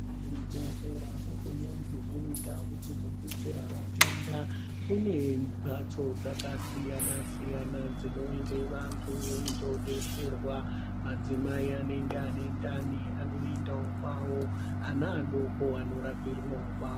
Kuzvibhedhlera kune dzimweni ndau dzinodetsera vatenda. Kune mphatso dzakasiyanasiyana dzinoende vantu veidhodetserwa. Madzimai anonga aine ndani anoendawo kwawo ana adoko anorapirwawo kwawo.